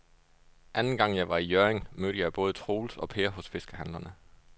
Anden gang jeg var i Hjørring, mødte jeg både Troels og Per hos fiskehandlerne.